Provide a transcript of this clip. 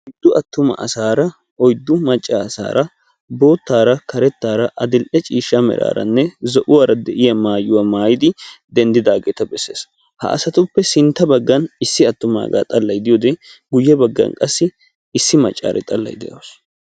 Oyddu attuma asaara oyddu macca asaara boottaara karettaara adill'e ciishsha meraaranne zo'uwara de'iya maayuwa maayidi denddidaageeta besses. Ha asatuppe sintta baggan issi attumaagaa xallayi diyode guyye baggan qassi issi maccaari xallayi de'awus.